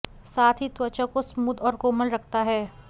साथ ही त्वचा को स्मूद और कोमल रखता है